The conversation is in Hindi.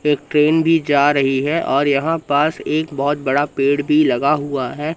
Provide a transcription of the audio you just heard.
एक ट्रेन भी जा रही है और यहां पास एक बहोत बड़ा पेड़ भी लगा हुआ है।